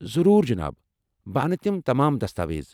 ضروٗر، جناب! بہٕ انہٕ تِم تمام دستاویز۔